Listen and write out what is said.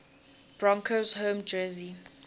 broncos home jersey